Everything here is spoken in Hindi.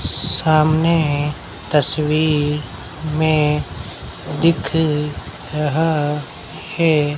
सामने तस्वीर में दिख रहा है।